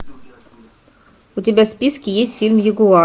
у тебя в списке есть фильм ягуар